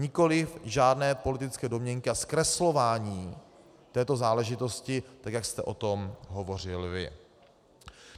Nikoliv žádné politické domněnky a zkreslování této záležitosti, tak jak jste o tom hovořil vy.